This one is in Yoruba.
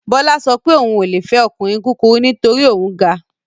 Bọ́lá sọ pé òun ò le fẹ́ ọkùnrin kúkurú nítorí òun ga